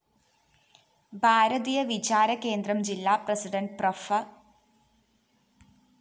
ഭാരതീയ വിചാരകേന്ദ്രം ജില്ലാ president prof